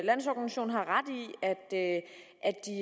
landsorganisation har ret